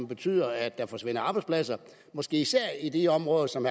betyder at der forsvinder arbejdspladser måske især i de områder som